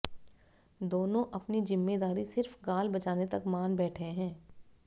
दोनों अपनी जिम्मेदारी सिर्फ गाल बजाने तक मान बैठे हैं